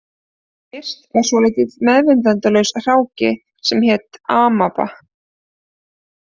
Fyrst var svolítill meðvitundarlaus hráki sem hét amaba